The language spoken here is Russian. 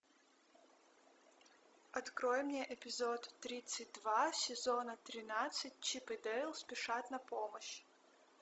открой мне эпизод тридцать два сезона тринадцать чип и дейл спешат на помощь